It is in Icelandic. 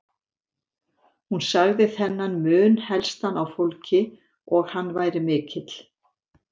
Hún sagði þennan mun helstan á fólki og hann væri mikill.